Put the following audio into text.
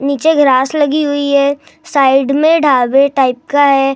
नीचे ग्रास लगी हुई है साइड में ढाबे टाइप का है।